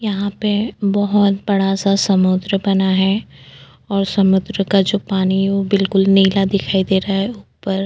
यहाँ पे बहोत बड़ा-सा समुद्र बना है और समुद्र का जो पानी है वो बिल्कुल नीला दिखाई दे रहा है ऊपर --